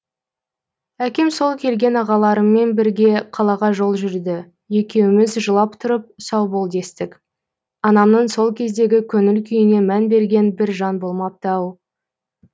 әкем сол келген ағаларыммен бірге қалаға жол жүрді екеуміз жылап тұрып сау бол дестік анамның сол кездегі көңіл күйіне мән берген бір жан болмапты ау